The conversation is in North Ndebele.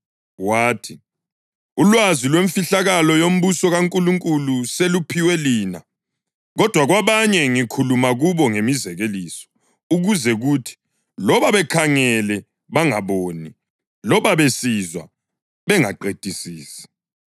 Wathi, “Ulwazi lwemfihlo yombuso kaNkulunkulu seluphiwe lina, kodwa kwabanye ngikhuluma kubo ngemizekeliso, ukuze kuthi, ‘loba bekhangele, bangaboni; loba besizwa, bengaqedisisi.’ + 8.10 U-Isaya 6.9